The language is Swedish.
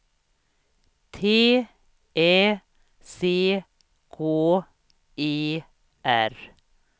T Ä C K E R